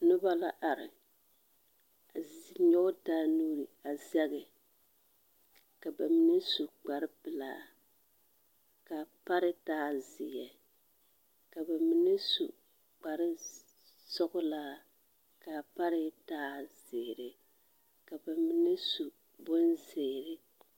Noba la are a z… nyɔge taa nuuri a zɛge. Ka ba mine su kpare pelaa ka pare taa zeɛ. Ka ba mine su kare s… sɔgelaa ka pare taa zeere, ka ba mine su bonzeere.